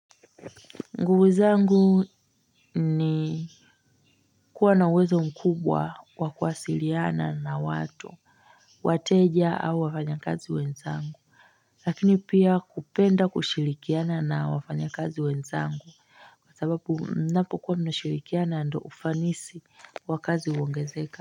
Nguvu zangu ni kuwa na uwezo mkubwa wa kuwasiliana na watu, wateja au wafanya kazi wenzangu. Lakini pia kupenda kushirikiana na wafanya kazi wenzangu kwa sababu mnapo kuwa mnashirikiana ndio ufanisi wa kazi huongezeka.